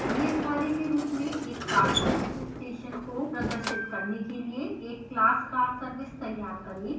नियतcar के रूप में एक car service station को प्रदर्शित करने के लिए एक class carservice तैयार करें